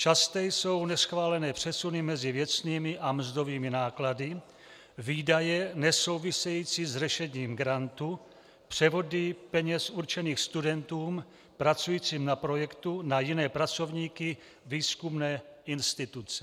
Časté jsou neschválené přesuny mezi věcnými a mzdovými náklady, výdaje nesouvisející s řešením grantu, převody peněz určených studentům pracujícím na projektu na jiné pracovníky výzkumné instituce.